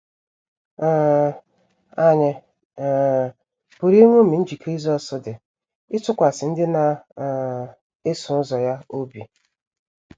um Ànyị um pụrụ iṅomi njikere Jisọs dị ịtụkwasị ndị na um - eso ụzọ ya obi?